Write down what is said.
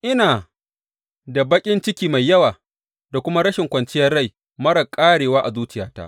Ina da baƙin ciki mai yawa da kuma rashin kwanciyar rai marar ƙarewa a zuciyata.